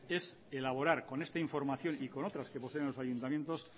es elaborar con esta información y con otras que poseen los ayuntamientos